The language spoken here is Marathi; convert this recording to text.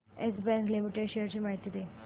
येस बँक लिमिटेड शेअर्स ची माहिती दे